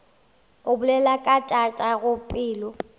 o bolela ka tatago pelo